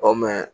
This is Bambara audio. Ɔ